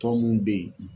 Tɔn mun be yen